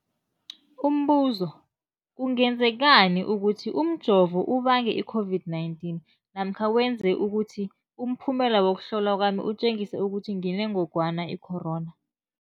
Umbuzo, kungenzekana ukuthi umjovo ubange i-COVID-19 namkha wenze ukuthi umphumela wokuhlolwa kwami utjengise ukuthi nginengogwana i-corona?